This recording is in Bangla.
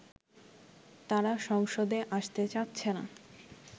তারা সংসদে আসতে চাচ্ছেনা